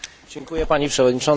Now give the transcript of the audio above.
Pani Przewodnicząca!